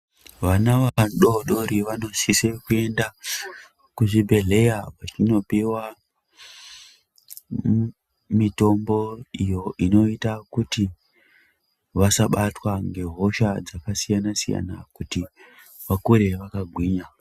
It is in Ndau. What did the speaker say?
Vana vadodori vanosise kuaenda kuzvibhehleya kuti vanopiwa mutombo kuitira kuti vasabatwa nehosha dzakasiyana- siyana kuti vakure vakagwinya